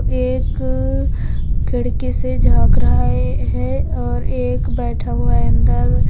एक खिड़की से झाख रहा ये है और एक बैठा हुआ है अंदर।